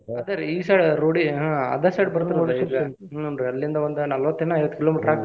ಅದ ರಿ ಈ side road ಗೆ ಆಹ್ ಅದ side ಬರ್ತೆತಿ ಹೂನ್ರೀ ಅಲ್ಲಿಂದ ಒಂದ ನಾಲ್ವತ್ತ ಏನೊ ಐವತ್ತ kilo meter ಅಕ್ಕೆತ್ರಿ ಅದ.